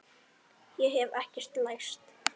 Ég hef ekkert lært.